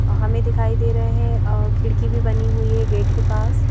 हमें दिखाई दे रहे हैं अ खिड़की भी बनी हुई है गेट के पास--